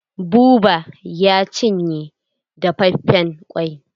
Buba ya cinye dafafen ƙwai.